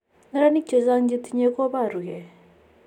Neranik chechang chetinye koboru gee